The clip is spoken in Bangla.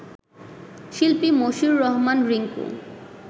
শিল্পী মশিউর রহমান রিংকু